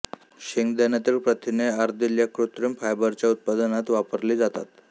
शेंगदाण्यातील प्रथिने अर्दिल या कृत्रिम फायबरच्या उत्पादनात वापरली जातात